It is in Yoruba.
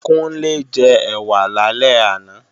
Kúnlé jẹ ẹ̀wà lálẹ́ àná